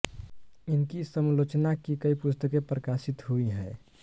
इनकी समलोचना की कई पुस्तकें प्रकाशित हुई हैं